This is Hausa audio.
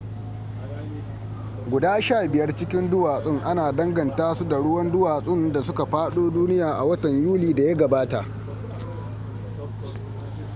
guda sha biyar cikin duwatsun ana danganta su da ruwan duwatsun da suka fado duniya a watan yuli da ya gabata